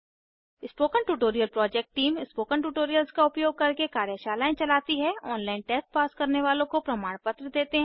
spoken tutorial project team spoken tutorials का उपयोग करके कार्यशालाएं चलती हैऑनलाइन टेस्ट पास करने वालों को प्रमाण पत्र देते हैं